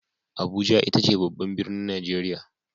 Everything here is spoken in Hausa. Abuja ita ce babban birnin Nigeria.